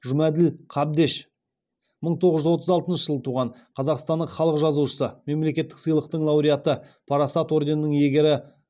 жұмаділ қабдеш мың тоғыз жүз отыз алтыншы жылы туған қазақстанның халық жазушысы мемлекеттік сыйлықтың лауреаты парасат орденінің иегері